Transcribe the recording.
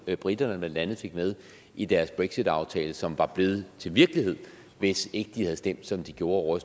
briterne blandt andet fik med i deres brexitaftale som var blevet til virkelighed hvis ikke de havde stemt som de gjorde